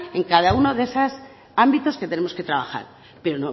en cada uno de esos ámbitos que tenemos que trabajar pero